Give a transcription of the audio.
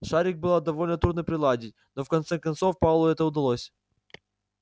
шарик было довольно трудно приладить но в конце концов пауэллу это удалось